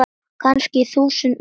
Kannski þúsund metra?